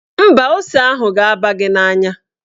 Mba, ose ahụ ga-aba gị n'anya.